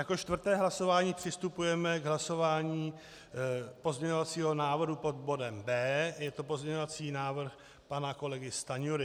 Jako čtvrté hlasování přistupujeme k hlasování pozměňovacího návrhu pod bodem B. Je to pozměňovací návrh pana kolegy Stanjury.